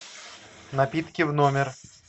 напитки в номер